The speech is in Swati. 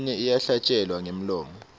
leminye iyahlatjelelwa ngemlomo